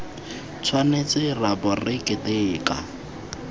tshwanetse ra bo re keteka